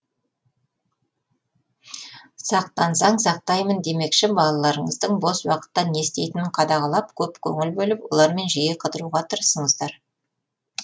сақтансаң сайтаймын демекші балаларыңыздың бос уақытта не істейтінін қадағалап көп көңіл бөліп олармен жиі қыдыруға тырысыңыздар